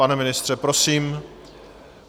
Pane ministře, prosím.